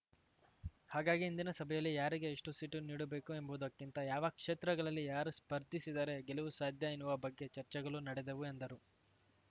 ಹಾಗಾಗಿ ಇಂದಿನ ಸಭೆಯಲ್ಲಿ ಯಾರಿಗೆ ಎಷ್ಟು ಸೀಟು ನೀಡಬೇಕು ಎಂಬುದಕ್ಕಿಂತ ಯಾವ ಕ್ಷೇತ್ರಗಳಲ್ಲಿ ಯಾರು ಸ್ಪರ್ಧಿಸಿದರೆ ಗೆಲುವು ಸಾಧ್ಯ ಎನ್ನುವ ಬಗ್ಗೆ ಚರ್ಚೆಗಳು ನಡೆದವು ಎಂದರು